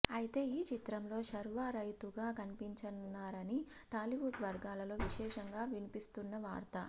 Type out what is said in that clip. ఐతే ఈ చిత్రంలో శర్వా రైతుగా కనిపించనున్నారని టాలీవుడ్ వర్గాలలో విశేషంగా వినిపిస్తున్న వార్త